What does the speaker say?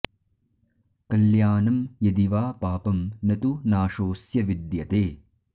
कल्यानं यदि वा पापं न तु नाशोऽस्य विद्यते